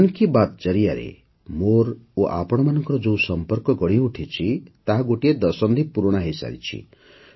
ମନ୍ କୀ ବାତ୍ ଜରିଆରେ ମୋର ଓ ଆପଣମାନଙ୍କର ଯେଉଁ ସଂପର୍କ ଗଢ଼ିଉଠିଛି ତାହା ଗୋଟିଏ ଦଶନ୍ଧି ପୁରୁଣା ହୋଇସାରିଛି